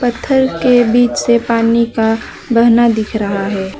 पत्थर के बीच से पानी का बहना दिख रहा है।